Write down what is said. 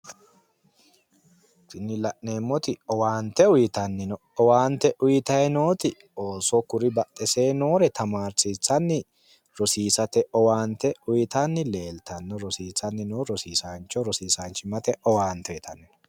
Tini la'neemmoti owaante uuyitanni no. Owaante uuyitayi nooti ooso kuri badhesee noore tanaarsiissanni rosiisate owaante uuyitanni leeltanni no rossiisanni noo rosiisaanchimmate owaante uuyitanni no